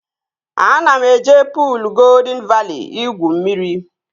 Ana m eje puul Goldịn Vali igwu mmiri